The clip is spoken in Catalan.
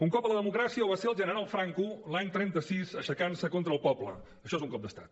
un cop a la democràcia ho va ser general franco l’any trenta sis aixecant se contra el poble això és un cop d’estat